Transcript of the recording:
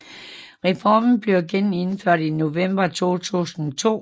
Reformen blev gennemført i november 2002